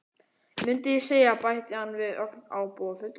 Mundi ég segja- bætti hann við ögn ábúðarfullur.